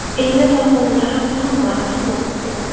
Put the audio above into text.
Endi Farg‘onada ham Muhammad Saloh bor.